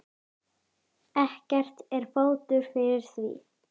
Ekki er fótur fyrir því.